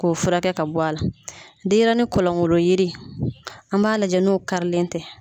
K'o fura kɛ ka bɔ a la denɲɛrɛnin kɔlɔnkolon yiri an b'a lajɛ n'o karilen tɛ.